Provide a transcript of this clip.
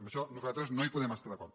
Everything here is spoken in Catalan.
en això nosaltres no hi podem estar d’acord